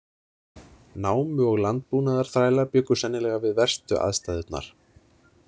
Námu- og landbúnaðarþrælar bjuggu sennilega við verstu aðstæðurnar.